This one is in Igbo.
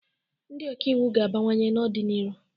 Ndị ọka iwu ga-abawanye n'ọ dị n'iru.